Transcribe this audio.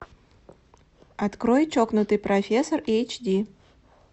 открой чокнутый профессор эйч ди